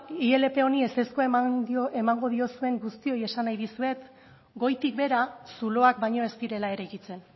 ilp honi ezezkoa emango diozuen guztioi esan nahi dizuet goitik behera zuloak baino ez direla eraikitzen